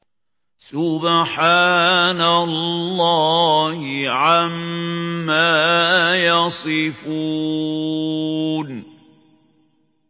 سُبْحَانَ اللَّهِ عَمَّا يَصِفُونَ